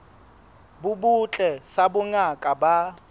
bo botle sa bongaka ba